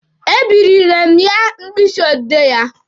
E birile mụ ya mkpịsị odee ya.